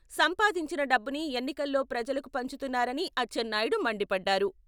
సంపాదించిన డబ్బుని ఎన్నికల్లో ప్రజలకు పంచుతున్నారని అచ్చెన్నాయుడు మండిపడ్డారు.